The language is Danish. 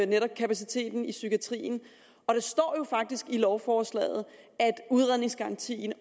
netop kapaciteten i psykiatrien og det står jo faktisk i lovforslaget at udredningsgarantien